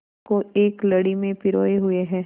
को एक लड़ी में पिरोए हुए हैं